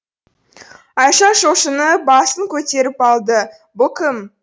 айша шошынып басын көтеріп алды бұл кім